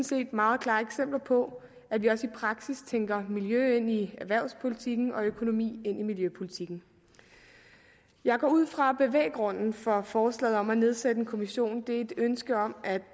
set meget klare eksempler på at vi også i praksis tænker miljø ind i erhvervspolitikken og økonomi ind i miljøpolitikken jeg går ud fra at bevæggrunden for forslaget om at nedsætte en kommission er et ønske om at